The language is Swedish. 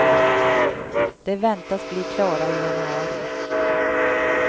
De väntas bli klara i januari.